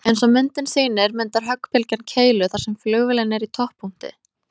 Eins og myndin sýnir myndar höggbylgjan keilu þar sem flugvélin er í topppunkti.